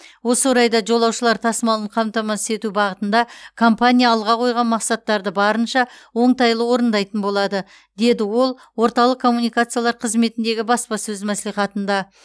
осы орайда жолаушылар тасымалын қамтамасыз ету бағытында компания алға қойған мақсаттарды барынша оңтайлы орындайтын болады деді ол орталық коммуникациялар қызметіндегі баспасөз мәслихатында